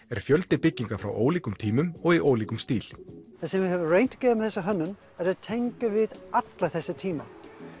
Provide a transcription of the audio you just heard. er fjöldi bygginga frá ólíkum tímum og í ólíkum stíl það sem við höfum reynt að gera með þessa hönnun er að tengja við alla þessa tíma